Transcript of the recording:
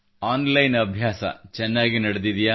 on line ಅಭ್ಯಾಸ ಚೆನ್ನಾಗಿ ನಡೆದಿದೆಯೇ